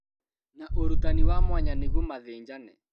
Na ũrutani wa mwanya nĩguo mathĩnjane